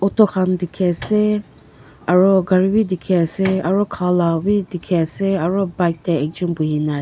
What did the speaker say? to khan dekhe ase aro gare beh dekhe ase aro kha la beh dekhe ase aro pipe tey ekjun puhe na a--